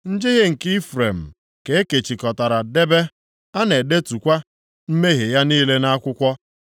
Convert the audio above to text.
Njehie nke Ifrem ka e kechikọtara debe; a na-edetukwa mmehie ya niile nʼakwụkwọ.